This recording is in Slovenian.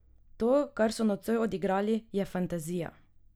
To kar so nocoj odigrali, je fantazija!